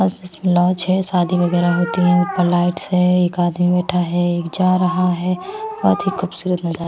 आस पास में लॉज है शादी वगैरह होती हैं ऊपर लाइट्स है एक आदमी बैठा है एक जा रहा है बहुत ही खूबसूरत नजारा--